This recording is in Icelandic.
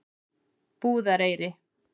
Búðareyri